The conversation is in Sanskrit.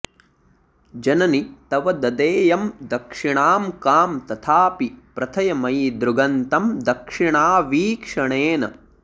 जननि तव ददेयं दक्षिणां कां तथापि प्रथय मयि दृगन्तं दक्षिणावीक्षणेन